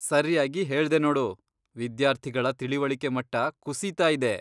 ಸರ್ಯಾಗಿ ಹೇಳ್ದೆ ನೋಡು, ವಿದ್ಯಾರ್ಥಿಗಳ ತಿಳಿವಳಿಕೆ ಮಟ್ಟ ಕುಸೀತಾ ಇದೆ.